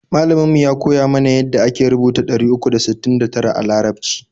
Malamin mu ya koya mana ya da ake rubuta ɗari uku da sittin da tara a larabci